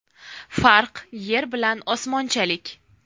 Farq yer bilan osmonchalik.